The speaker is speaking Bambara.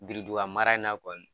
Bilduga mara in na kɔni